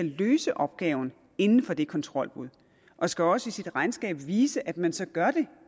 løse opgaven inden for det kontrolbud og skal også i sit regnskab vise at man så gør det